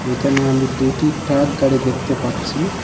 এইখানে আমি দুটি ট্রাক গাড়ি দেখতে পারছি।